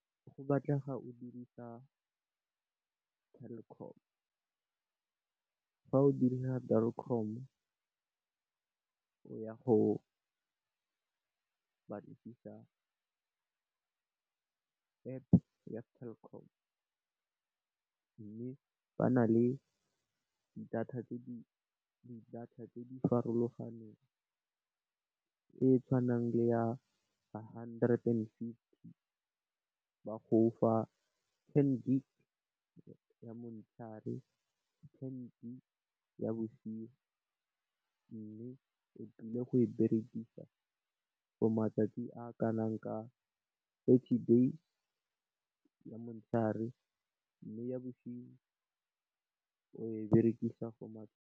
Go batlega o dirisa Telkom, fa o dirisa Telkom o ya go batlisisa App ya Telkom. Mme, ba na le di data tse di farologaneng, e tshwanang le ya hundred and fifty ba go fa ten gigabytes ya motshegare, ten gigabytes ya bosigo, mme, o tlile go e berekisa for matsatsi a kanang ka thirty days, ya motshegare le ya bosigo .